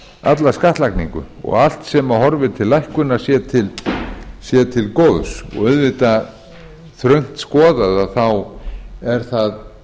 alla skattlagningu og allt sem að horfir til lækkunar sé til góðs þröngt skoðað er það